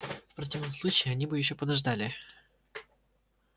в противном случае они бы ещё подождали